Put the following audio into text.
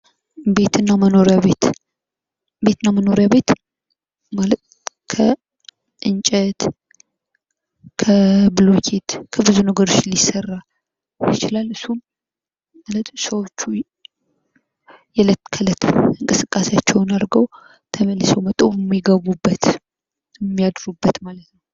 ቤትና መኖራያ ቤት፡-ቤትና መኖራያ ቤት ማለት ከእንጨት፣ ከብሎኬት ከብዙ ነገሮች ሊሰራ ይችላል። እሱም ሰዎች የእለት ከእለት እንቅስቃሴያቸውን አድርገው ተመልሰው መተው ሚገቡበት፣ ሚያድሩበትማለት ነው።